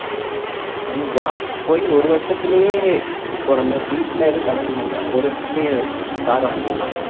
ஆனா job போய் ஒரு வருஷத்திலேயே இப்போ நம்ம வீட்டுல ஏதோ கடன் இல்லைன்னா ஒரு வருஷத்திலேயே car வாங்கிடலாம்